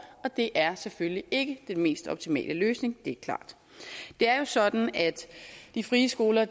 og det er selvfølgelig ikke den mest optimale løsning det er klart det er jo sådan at de frie skoler